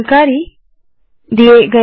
इस ट्यूटोरियल में शामिल होने के लिए धन्यवाद